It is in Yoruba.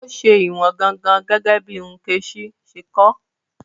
Ó ṣe ìwọ̀n gangan, gẹ́gẹ́ bí Nkechi ṣe kọ́ ọ.